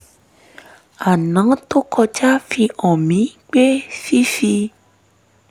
aná tó kọjá fi hàn mí pé fífi